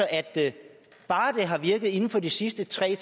at bare det har virket inden for de sidste tre